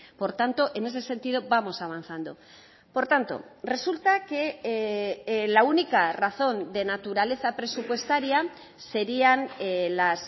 por tanto en ese sentido vamos avanzando por tanto resulta que la única razón de naturaleza presupuestaria serían las